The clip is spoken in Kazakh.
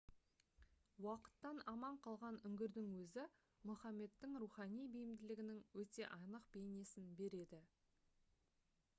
уақыттан аман қалған үңгірдің өзі мұхаммедтің рухани бейімділігінің өте анық бейнесін береді